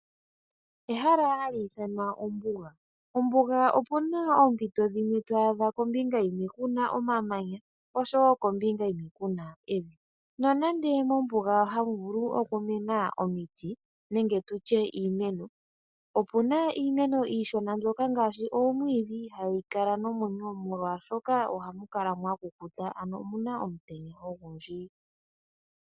Ehala hali ithanwa ombuga, ombuga opu na oompito dhimwe to adha kombinga yimwe ku na omamanya osho woo kombinga onkwawo ku na evi. Nonande mombuga ha mu vulu oku mena omiti nenge tu tye iimeno, opu na iimeno iishona ngaashi oomwiidhi ihaa yi kala nomwenyo molwaashoka oha mu kala mwa kukuta na omu na omutenya ogundji.